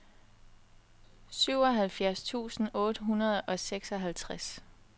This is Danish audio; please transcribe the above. syvoghalvfjerds tusind otte hundrede og seksoghalvtreds